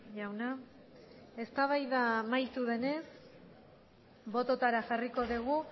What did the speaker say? jauna eztabaida amaitu denez bototara jarriko dugu